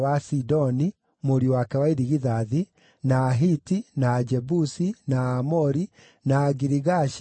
Sidoni, mũriũ wake wa irigithathi, na Ahiti, na Ajebusi, na Aamori, na Agirigashi,